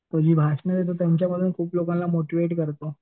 तो जे भाषणं देतो त्यातून तो खूप लोकांना मोटिवेट करतो.